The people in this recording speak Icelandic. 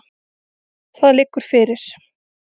Það liggur fyrir.